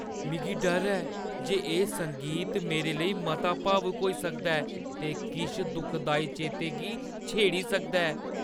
मिगी डर ऐ जे एह् संगीत मेरे लेई मता भावुक होई सकदा ऐ ते किश दुखदाई चेतें गी छेड़ी सकदा ऐ।